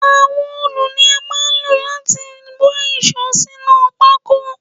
Àwọn òòlù ni a máa ń lò láti wá íṣo sínú pako